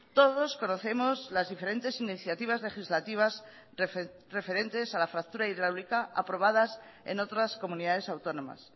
todos conocemos las diferentes iniciativas legislativas referentes a la fractura hidráulica aprobadas en otras comunidades autónomas